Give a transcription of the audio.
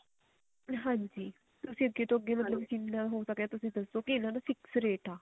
ਹਾਂਜੀ ਤੁਸੀਂ ਅੱਗੇ ਤੋਂ ਅੱਗੇ ਮਤਲਬ ਜਿੰਨਾ ਹੋ ਸਕੇ ਤੁਸੀਂ ਦੱਸੋ ਵੀ ਇਹਨਾ ਨੂੰ fix ਰੇਟ ਆ